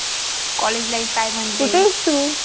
college life काय म्‍हणते कुठे आहेस तू